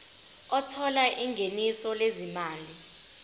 othola ingeniso lezimali